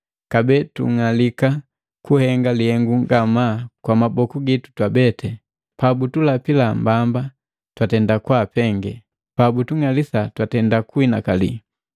Kabee tung'alika kuhenga lihengu ngamaa kwa maboku gitu twabeti, pabutulapi mbamba, twatenda kwaapenge, pabutung'alisa tutenda kunhinakali,